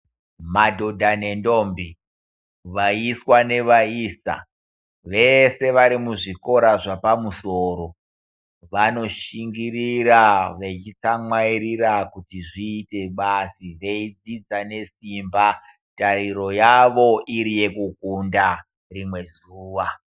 Madhodha nendombi, vaiswa nevaisa vese varimuzvikora zvapamusoro, vanoshingirira vechitsamwairira kuti zviite basi, veidzidza nesimba. Tariro yavo iri yekukunda rimwe zuva.